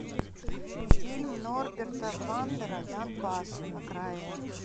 фильм норберта вандера донбасс окраина